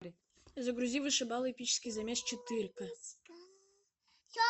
загрузи вышибалы эпический замес четырка